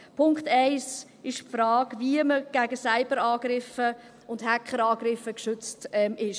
Punkt eins ist die Frage, wie man gegen Cyberangriffe und Hackerangriffe geschützt ist.